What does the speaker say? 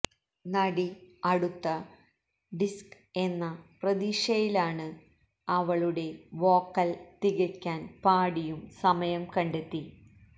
നടി അടുത്ത ഡിസ്ക് എന്ന പ്രതീക്ഷയിലാണ് അവളുടെ വോക്കൽ തികക്കാൻ പാടിയും സമയം കണ്ടെത്തി